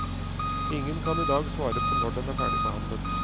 Ingen kan i dag svare på når den er ferdigbehandlet.